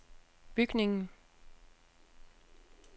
bygningen